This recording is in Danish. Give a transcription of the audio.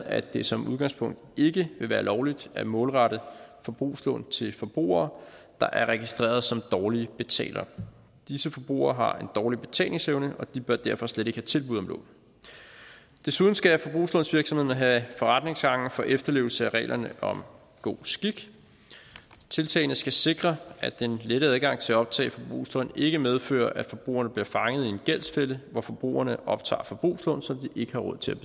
at det som udgangspunkt ikke vil være lovligt at målrette forbrugslån til forbrugere der er registrerede som dårlige betalere disse forbrugere har en dårlig betalingsevne og de bør derfor slet ikke have tilbud om lån desuden skal forbrugslånsvirksomhederne have forretningsgange for efterlevelse af reglerne om god skik tiltagene skal sikre at den lette adgang til at optage forbrugslån ikke medfører at forbrugerne bliver fanget i en gældsfælde hvor forbrugerne optager forbrugslån som de ikke har råd til at